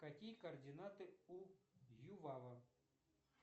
какие координаты у ювава